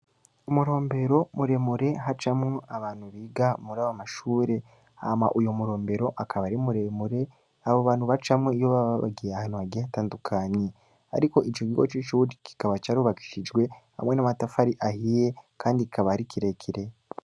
Umurombero muremure hacamwo abantu biga muri abo mashure hama uyo murombero akaba ari muremure abo bantu ba camwo iyo bababagiye ahantu hagihe atandukanyi, ariko ico gigo c'icuwudi kikaba carubakishijwe hamwe n'amatafari ahiye, kandi kabari ikirekire.